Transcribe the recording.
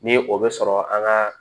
Ni o bɛ sɔrɔ an ka